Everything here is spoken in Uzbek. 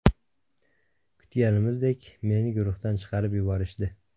Kutganimizdek, meni guruhdan chiqarib yuborishdi.